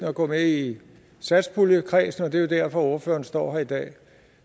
at gå med i satspuljekredsen og det er jo derfor ordføreren står her i dag